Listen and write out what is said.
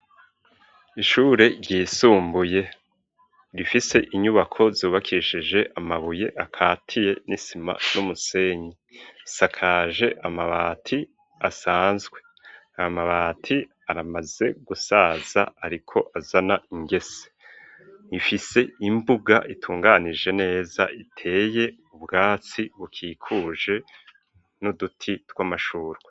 Ishure ryisumbuye, rifise inyubako zubakishije amabuye akatiye n'isima n'umusenyi, isakaje amabati asanzwe; ayo amabati, aramaze gusaza, ariko azana ingese; ifise imbuga, itunganije neza, iteye ubwatsi bukikuje, n'uduti tw'amashurwe.